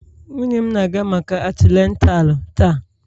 Nwunye m na-aga maka atinatalu taa.